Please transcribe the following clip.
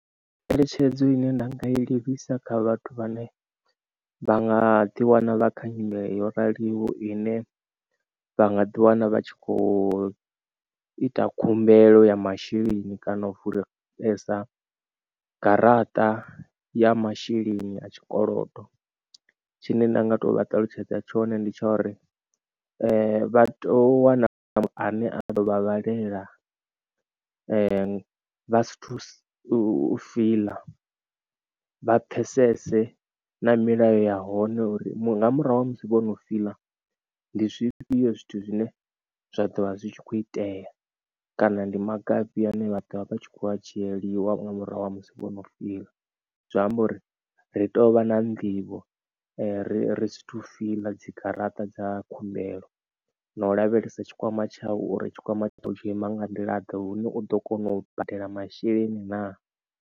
Ngeletshedzo ine nda nga i livhisa kha vhathu vhane vha nga ḓi wana vha kha nyimele yo raliho ine vha nga ḓi wana vha tshi kho ita khumbelo ya masheleni kana u vulisa garaṱa ya masheleni a tshikolodo tshine nda nga to vha ṱalutshedza tshone ndi tsha uri vha to wana ane a ḓo vhavhalela vha sathu fila vha pfesese na milayo ya hone uri nga murahu ha musi vhono fila. Ndi zwifhio zwithu zwine zwa ḓo vha zwi tshi kho itea kana ndi maga afhio ane vha ḓovha vha tshi kho a dzhieliwa nga murahu ha musi vhono fiḽa zwi amba uri ri tou vha na nḓivho ri ri si to fiḽa dzi garaṱa dza khumbelo na u lavhelesa tshikwama tshavho uri tshikwama tshavho u tshi ima nga nḓila ḓe hune u ḓo kona u badela masheleni na.